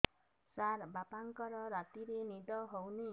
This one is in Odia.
ସାର ବାପାଙ୍କର ରାତିରେ ନିଦ ହଉନି